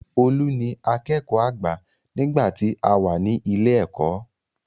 Olú ni akẹ́kọ̀ọ́ àgbà nígbà tí àwa ní ilé ẹ̀kọ́.